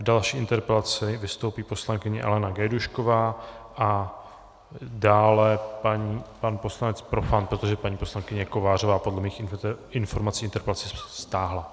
V další interpelaci vystoupí poslankyně Alena Gajdůšková a dále pan poslanec Profant, protože paní poslankyně Kovářová podle mých informací interpelaci stáhla.